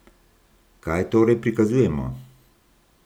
Kaj torej prikazujemo?